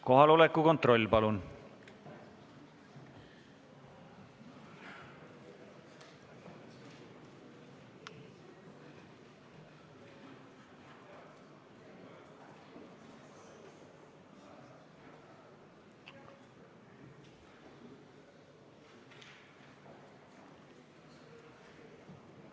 Kohaloleku kontroll, palun!